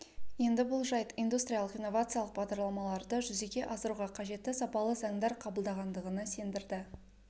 енді бұл жайт индустриялық-инновациялық бағдарламаларды жүзеге асыруға қажетті сапалы заңдар қабылдағандығына сендірді